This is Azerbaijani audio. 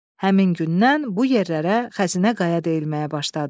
Həmin gündən bu yerlərə Xəzinə Qaya deyilməyə başladı.